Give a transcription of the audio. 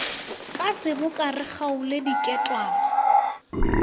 ka seboka re kgaole diketwane